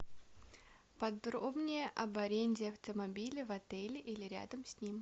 подробнее об аренде автомобиля в отеле или рядом с ним